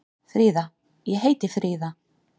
Fríða: Ég heiti Fríða.